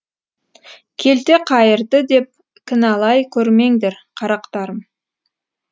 келте қайырды деп кіналай көрмеңдер қарақтарым